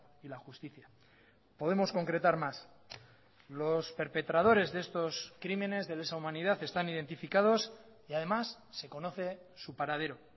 y la justicia podemos concretar más los perpetradores de estos crímenes de lesa humanidad están identificados y además se conoce su paradero